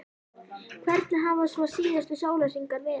Hvernig hafa svo síðustu sólarhringar verið?